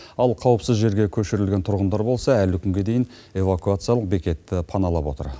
ал қауіпсіз жерге көшірілген тұрғындар болса әлі күнге дейін эвакуациялық бекетті паналап отыр